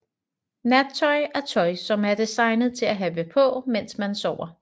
Nattøj er tøj som er designet til at have på mens man sover